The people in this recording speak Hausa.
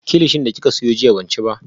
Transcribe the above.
Kilichi da kika siyo jiya ban ci ba